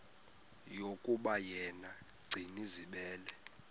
yokuba yena gcinizibele